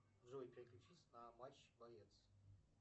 джой переключись на матч боец